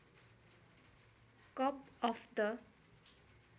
cup of the